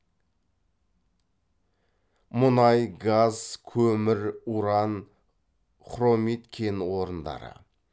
мұнай газ көмір уран хромит кен орындары